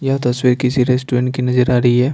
यह तस्वीर किसी रेस्टोरेंट की नजर आ रही है।